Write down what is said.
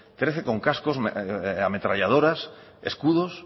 trece con cascos ametralladoras escudos